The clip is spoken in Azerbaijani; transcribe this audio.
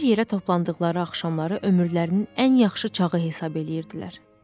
Bir yerə toplandıqları axşamları ömürlərinin ən yaxşı çağı hesab eləyirdilər.